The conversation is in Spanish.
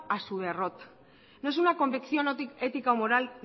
a su derrota no es una convección ética o moral